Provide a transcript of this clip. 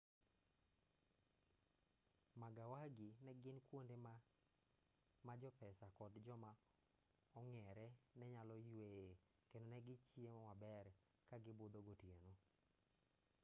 magawagi negin kuonde ma jopesa kod joma ong'eree nenyalo yweyee kendo negichiemo maber kagibudho gotieno